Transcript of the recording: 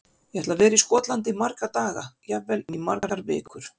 Ég ætla að vera í Skotlandi í marga daga, jafnvel í margar vikur.